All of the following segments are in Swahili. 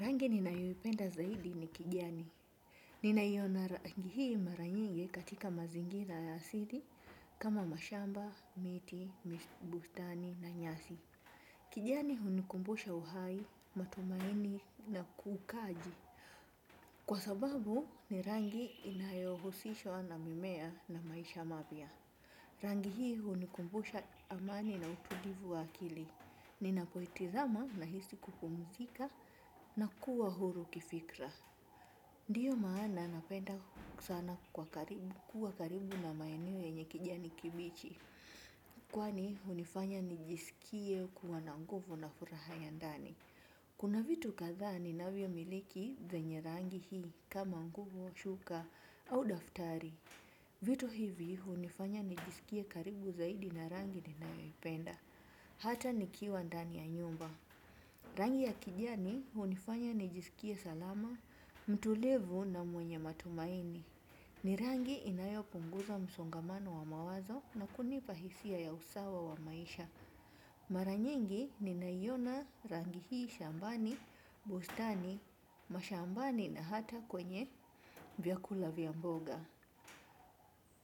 Rangi ninayoipenda zaidi ni kijani. Ninaiona rangi hii mara nyingi katika mazingira na asili, kama mashamba, miti, bustani, na nyasi. Kijani hunikumbusha uhai, matumaini, na ukuaji. Kwa sababu ni rangi inayohusishwa na mimea na maisha mapya. Rangi hii hunikumbusha amani na utulivu wa akili. Ni na poeti zama, nahisi kupumzika na kuwa huru kifikra. Ndiyo maana napenda sana kuwa karibu na maeneo yenye kijani kibichi. Kwani hunifanya nijisikie kuwa na nguvu na furaha ya ndani. Kuna vitu kadhaa ninavyomiliki vyenye rangi hii, kama nguo, shuka, au daftari. Vitu hivi hunifanya nijisikie karibu zaidi na rangi ninayoipenda. Hata nikiwa ndani ya nyumba. Rangi ya kijani hunifanya nijisikie salama, mtulivu, na mwenye matumaini. Ni rangi inayopunguza msongamano wa mawazo na kunipa hisia za usawa wa maisha. Mara nyingi ninaiona rangi hii shambani, bustani, mashambani, na hata kwenye vyakula vya mboga.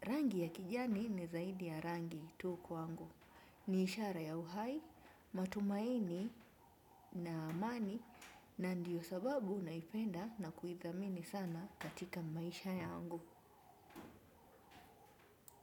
Rangi ya kijani ni zaidi ya rangi tu kwangu. Ni ishara ya uhai, matumaini na amani, na ndiyo sababu naipenda na kuithamini sana katika maisha yangu.